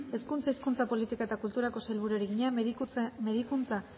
hezkuntza hizkuntza politika eta kulturako sailburuari egina medikuntza